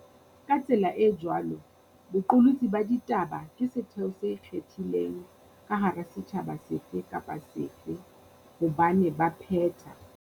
Ka tsela e jwalo, boqolotsi ba ditaba ke setheo se ikgethileng ka hara setjhaba sefe kapa sefe hobane ba phetha.